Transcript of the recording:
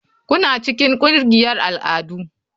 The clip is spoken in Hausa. Kuna cikin ƙungiyar al'adu?